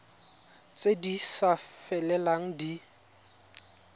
tse di sa felelang di